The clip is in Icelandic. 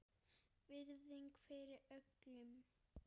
Virðing fyrir öllum.